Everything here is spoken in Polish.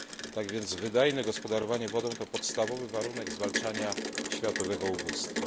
Tak wiec wydajne gospodarowanie wodą, to podstawowy warunek zwalczania światowego ubóstwa.